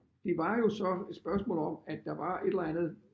Det var jo så et spørgsmål om at der var et eller andet